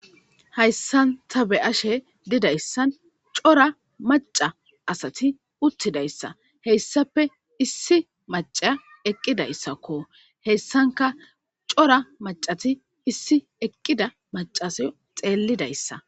Hayssan ta be ashe didayssan cora maca asati uttidayssa heyssappe issi maca eqqidayssakko heyssanka cora macati issi eqqida macase xeellidayssa.